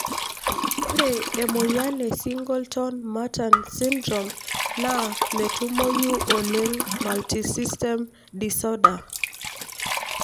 ore emoyian e Singleton Merten syndrome na metumoyu oleng multisystem disorder.